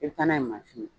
I bɛ taa n'a ye mansin ye